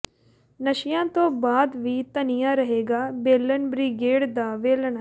ਨਸ਼ਿਆਂ ਤੋਂ ਬਾਅਦ ਵੀ ਤਣਿਆ ਰਹੇਗਾ ਬੇਲਨ ਬ੍ਰਿਗੇਡ ਦਾ ਵੇਲਣਾ